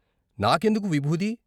నాకెందుకు నిబూది.